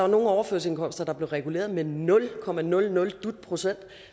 nogle overførselsindkomster der blev reguleret med nul komma nul nul dut procent og